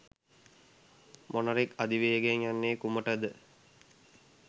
මොණරෙක් අධි වේගයෙන් යන්නේ කුමටද